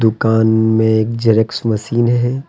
दुकान में एक जेरेस्क जेरॉक्स मशीन है।